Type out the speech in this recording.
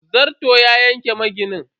Zarton ya yanki maginin.